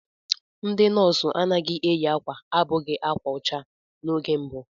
Ndị nọọsụ anaghị eyi akwa abụghị ákwà ọcha n'oge mbụ.